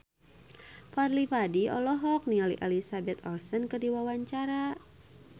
Fadly Padi olohok ningali Elizabeth Olsen keur diwawancara